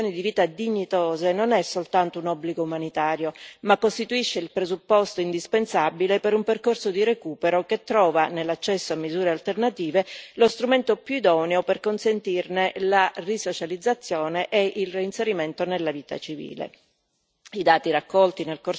Assicurare ad ogni detenuto condizioni di vita dignitose, non è soltanto un obbligo umanitario, ma costituisce il presupposto indispensabile per un percorso di recupero che trova nell'accesso a misure alternative, lo strumento più idoneo per consentirne la risocializzazione e il reinserimento nella vita civile.